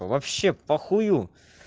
вообще похую